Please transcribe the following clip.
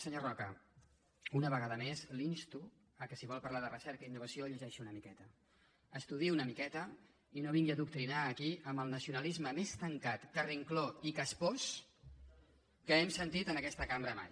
senyor roca una vegada més l’insto que si vol parlar de recerca i innovació llegeixi una miqueta estudiï una miqueta i no vingui a adoctrinar aquí amb el nacionalisme més tancat carrincló i caspós que hem sentit en aquesta cambra mai